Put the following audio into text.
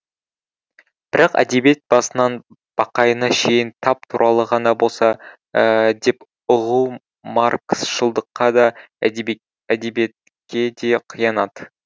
бірақ әдебиет басынан бақайына шейін тап туралы ғана болса деп ұғу маркысшылдыққа да әдебиетке де қиянат